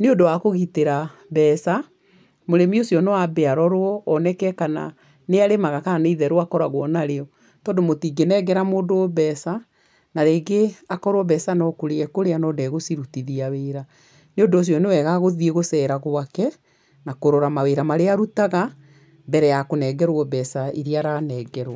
Nĩ ũndũ wa kũgitĩra mbeca mũrĩmi ũcio no ambe arorwo oeneke kana nĩ arĩmaga kana nĩ itheru akoragwo narĩo tondũ mũtingĩnengera mũndũ mbeca na rĩngĩ akorwo mbeca no kũrĩa ekũrĩa no ndegũcirutithia wĩra. Nĩ ũndũ ũcio nĩ wega gũthiĩ gũceera gwake, na kũrora mawĩra marĩa arutaga, mbere ya kũnengerwo mbeca iria aranengerwo.